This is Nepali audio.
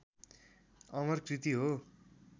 अमर कृति हो